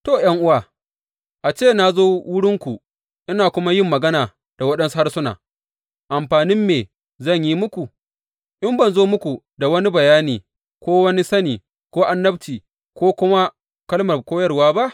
To, ’yan’uwa, a ce na zo wurinku ina kuma yin magana da waɗansu harsuna, amfanin me zan yi muku in ban zo muku da wani bayani ko sani ko annabci, ko kuma kalmar koyarwa ba?